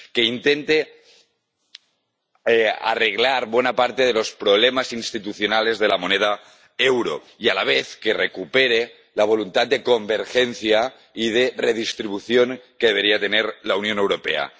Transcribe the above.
que intente arreglar buena parte de los problemas institucionales de la moneda euro y, a la vez, que recupere la voluntad de convergencia y de redistribución que debería tener la Unión Europea.